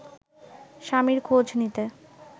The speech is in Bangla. স্বামীর খোঁজ নিতে